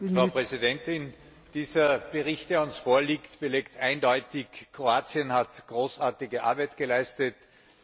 Frau Präsidentin! Dieser Bericht, der uns vorliegt, belegt eindeutig, dass Kroatien großartige Arbeit geleistet hat.